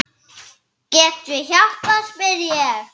Get ég hjálpað spyr ég.